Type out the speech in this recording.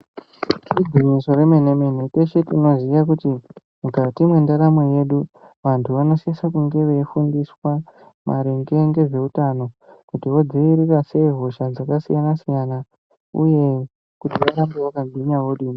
Igwinyiso remene-mene. Teshe tinoziya kuti mukati mwendaramo yedu vantu vanosisa kunge veifundiswa maringe ngezveutano kuti vodzivirira sei hosha dzakasiyana-siyana uye kuti varambe vakagwinya vodini.